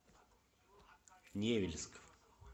невельск